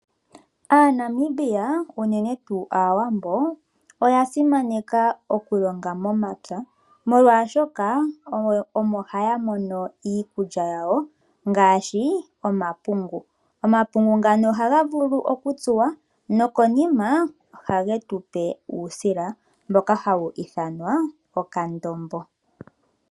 AaNamibia unene tuu aawambo oya simaneka okulonga momapya molwaashoka omo haya mono iikulya yawo ngaashi omapungu. Omapungu ngano ohaga vulu okutsuwa nokonima ohage tupe uusila mboka hawu ithanwa okandombo.